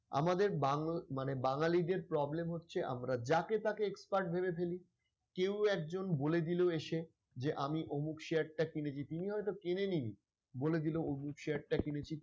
আমাদের মানে বাঙালিদের problem হচ্ছে আমরা যাকে তাকে expert ভেবে ফেলি কেউ একজন বলে দিলো এসে যে আমি অমুক share টা কিনেছি ।তিনি হয়ত কেনেন নি. বলে দিলো অমুক share টা কিনেছি ।